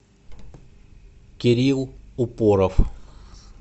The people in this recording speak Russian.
кирилл упоров